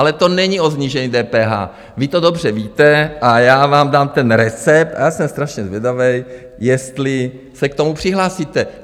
Ale to není o snížení DPH, vy to dobře víte, a já vám dám ten recept a já jsem strašně zvědavý, jestli se k tomu přihlásíte.